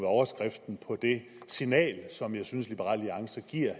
overskriften på det signal som jeg synes at liberal alliance giver